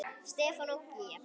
Stefán og Gígja.